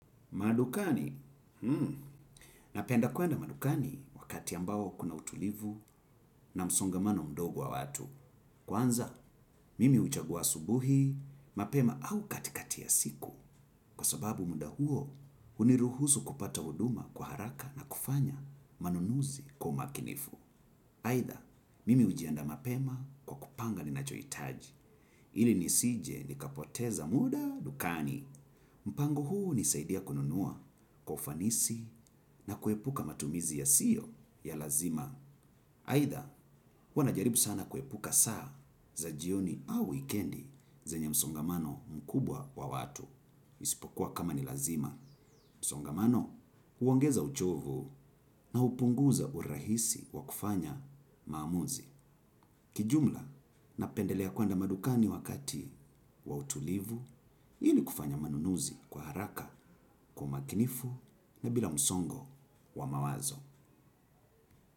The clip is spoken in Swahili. Madukani. Napenda kuenda madukani wakati ambao kuna utulivu na msongamano mdogo wa watu. Kwanza, mimi huchagua asubuhi mapema au katikatia siku kwa sababu muda huo huniruhusu kupata huduma kwa haraka na kufanya manunuzi kwa umakinifu. Aidha, mimi hujiandaa mapema kwa kupanga ninachohitaji. Ili nisije nikapoteza muda dukani. Mpango huu hunisaidia kununua kwa ufanisi na kuepuka matumizi yasiyo ya lazima. Aidha, huwa najaribu sana kuepuka saa za jioni au wikendi zenye msongamano mkubwa wa watu. Isipokuwa kama ni lazima. Msongamano, huongeza uchovu na hupunguza urahisi wa kufanya maamuzi. Kijumla napendelea kuenda madukani wakati wa utulivu ili kufanya manunuzi kwa haraka kwa umakinifu na bila msongo wa mawazo.